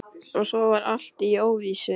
Og svo var allt í óvissu.